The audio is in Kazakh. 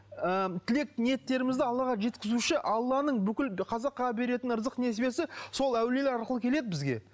ы тілек ниеттерімізді аллаға жеткізуші алланың бүкіл қазаққа беретін ырзық несібесі сол әулиелер арқылы келеді бізге